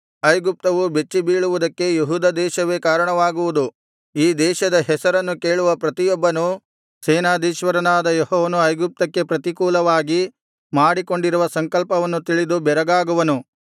ಐಗುಪ್ತವು ಬೆಚ್ಚಿಬೀಳುವುದಕ್ಕೆ ಯೆಹೂದ ದೇಶವೇ ಕಾರಣವಾಗುವುದು ಈ ದೇಶದ ಹೆಸರನ್ನು ಕೇಳುವ ಪ್ರತಿಯೊಬ್ಬನೂ ಸೇನಾಧೀಶ್ವರನಾದ ಯೆಹೋವನು ಐಗುಪ್ತಕ್ಕೆ ಪ್ರತಿಕೂಲವಾಗಿ ಮಾಡಿಕೊಂಡಿರುವ ಸಂಕಲ್ಪವನ್ನು ತಿಳಿದು ಬೆರಗಾಗುವನು